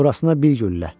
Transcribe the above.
Burasına bir güllə.